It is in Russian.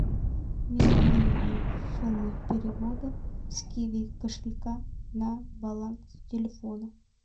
минимальная сумма перевода с киви кошелька на баланс телефона